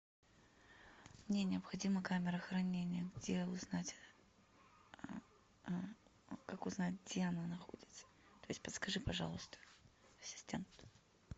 мне необходима камера хранения где узнать как узнать где она находится то есть подскажи пожалуйста ассистент